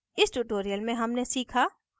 इस tutorial में हमने सीखा